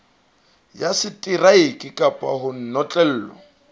ya seteraeke kapa ho notlellwa